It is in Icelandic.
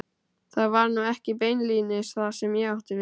Það var nú ekki beinlínis það sem ég átti við.